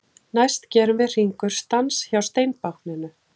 Næst gerum við Hringur stans hjá steinbákninu.